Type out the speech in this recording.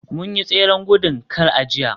mun yi tseren gudun kar a jiya